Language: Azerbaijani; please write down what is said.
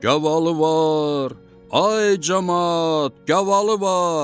Gavalı var, ay camaat, gavalı var!